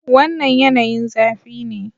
Wannan yanayin zafi ne.